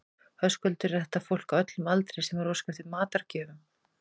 Höskuldur, er þetta fólk á öllum aldri sem er að óska eftir matargjöfum?